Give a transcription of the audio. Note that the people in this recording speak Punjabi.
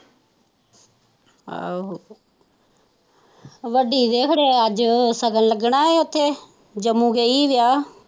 ਆਹੋ ਹੋਏ ਅੱਜ ਸ਼ਗੁਨ ਲੱਗਣ ਉੱਥੇ ਜੰਮੂ ਗਈ ਵਿਆਹ।